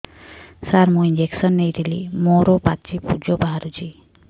ସାର ମୁଁ ଇଂଜେକସନ ନେଇଥିଲି ମୋରୋ ପାଚି ପୂଜ ବାହାରୁଚି